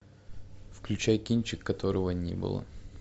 включай кинчик которого не было